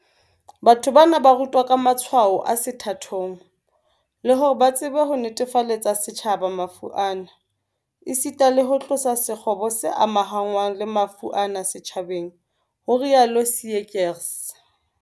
Batho bana ba rutwa ka matshwao a sethathong, le hore ba tsebe ho netefaletsa setjhaba mafu ana, esita le ho tlosa sekgobo se amahanngwang le mafu ana setjhabeng, ho rialo Seegers.